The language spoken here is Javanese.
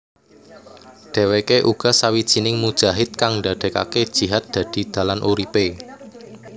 Dheweke uga sawijining mujahid kang ndadekake jihad dadi dalan uripe